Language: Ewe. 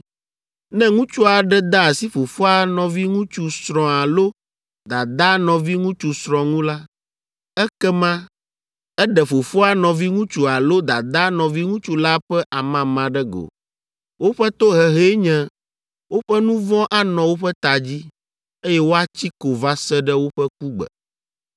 “ ‘Ne ŋutsu aɖe de asi fofoa nɔviŋutsu srɔ̃ alo dadaa nɔviŋutsu srɔ̃ ŋu la, ekema eɖe fofoa nɔviŋutsu alo dadaa nɔviŋutsu la ƒe amama ɖe go. Woƒe tohehee nye woƒe nu vɔ̃ anɔ woƒe ta dzi, eye woatsi ko va se ɖe woƒe kugbe.